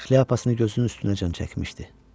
Şlyapasını gözünün üstünəcən çəkmişdi.